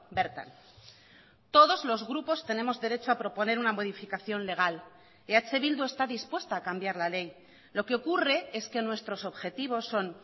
bertan todos los grupos tenemos derecho a proponer una modificación legal eh bildu está dispuesta a cambiar la ley lo que ocurre es que nuestros objetivos son